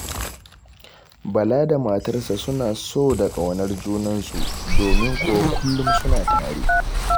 Bala da matarsa suna so da ƙaunar junansu, domin kuwa kullum suna tare.